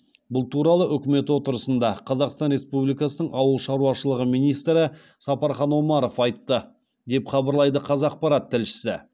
бұл туралы үкімет отырысында қазақстан республикасының ауыл шаруашылығы министрі сапархан омаров айтты деп хабарлайды қазақпарат тілшісі